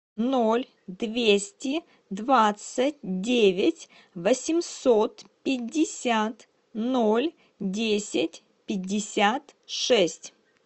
ноль двести двадцать девять восемьсот пятьдесят ноль десять пятьдесят шесть